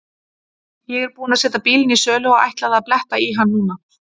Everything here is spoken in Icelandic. Ég er búinn að setja bílinn í sölu og ætlaði að bletta í hann núna.